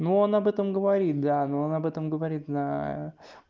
но он об этом говорит да но он об этом говорит на